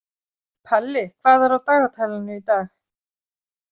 Palli, hvað er á dagatalinu í dag?